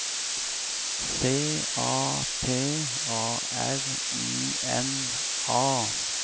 C A T A R I N A